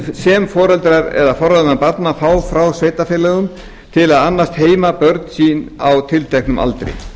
greiðslna sem foreldrar eða forráðamenn barna fá frá sveitarfélögum til að annast heima börn á tilteknum aldri